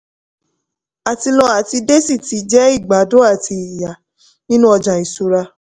àti lọ àti de sì ti jẹ́ ìgbádùn àti ìyà nínú ọjà isura.